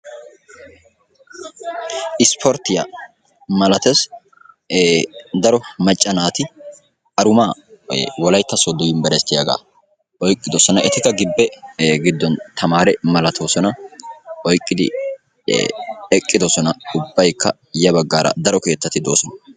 Isporttiya malatees. Daro macca naati aruma wolaytta sooddo yunbberssitiyaaga oyqqidoosona etikka gibe giddon tamaree malatoosona oyqqidi eqqidoosona ubbaykka ya baggaara daro keettati doosona.